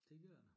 Det gør det